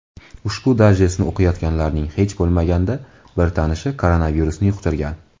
Ushbu dayjestni o‘qiyotganlarning hech bo‘lmaganda bir tanishi koronavirusni yuqtirgan.